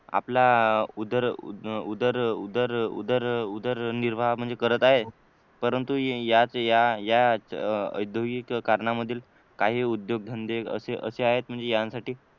आपला उदर उदर उदर उदर उदरनिर्वाह म्हणजे करत आहे परंतु या या या याच औद्योगीकरणामधील काही उद्योगधंदे असे असे आहेत म्हणजे यांसाठी